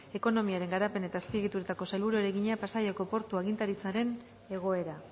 ekonomiaren garapen eta azpiegituretako sailburuari egina pasaiako portu agintaritzaren egoera